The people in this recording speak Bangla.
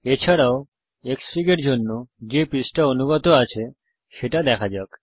এছাড়াও Xfig এর জন্যে যে পৃষ্ঠা অনুগত আছে সেটা দেখা যাক